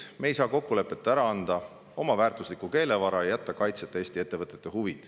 Me ei saa ilma selge kokkuleppeta ära anda oma väärtuslikku keelevara ja jätta kaitseta Eesti ettevõtete huve.